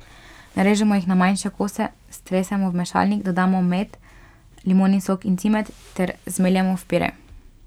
Narežemo jih na manjše kose, stresemo v mešalnik, dodamo med, limonin sok in cimet ter zmeljemo v pire.